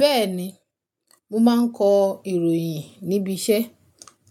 Bẹ́ẹ̀ni, mo máa ń kọ ìròyìn níbi iṣẹ́